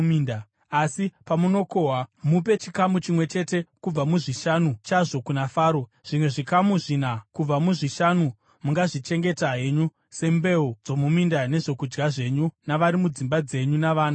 Asi pamunokohwa, mupe chikamu chimwe chete kubva muzvishanu chazvo kuna Faro. Zvimwe zvikamu zvina kubva muzvishanu mungazvichengeta henyu sembeu dzomuminda nezvokudya zvenyu navari mudzimba dzenyu navana venyu.”